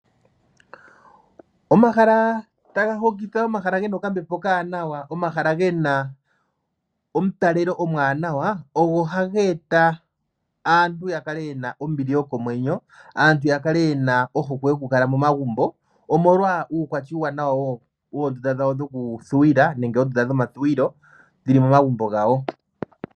Omahala taga hokitha, omahala ge na okambepo okawanawa, omahala ge na omutalelo omwaanawa ogo ha ge eta aantu ya kale ye na ombili yokomwenyo, aantu ya kale ye na ohokwe yokukala momagumbo omolwa uukwatya uuwanawa woondunda dhokuthuwilwa.